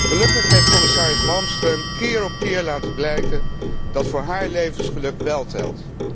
Gelukkig heeft commissaris Malmström keer op keer laten blijken dat voor haar levensgeluk wel telt.